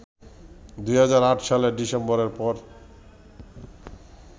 ২০০৮ সালের ডিসেম্বরের পর